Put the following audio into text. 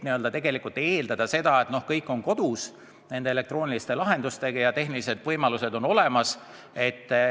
Tegelikult aga ei ole põhjust eeldada, et kõik tunnevad end nende elektrooniliste lahendustega hästi kodus olevat ja tehnilised võimalused on olemas.